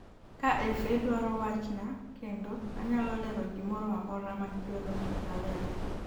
"Ka FA dwaro wachna kendo, anyalo lero gimoro amora ma gidwaro ni alere."